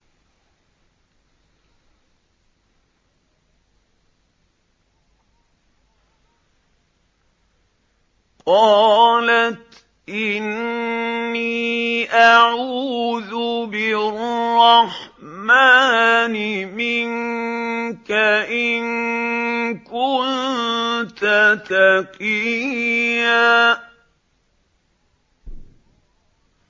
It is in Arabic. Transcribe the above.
قَالَتْ إِنِّي أَعُوذُ بِالرَّحْمَٰنِ مِنكَ إِن كُنتَ تَقِيًّا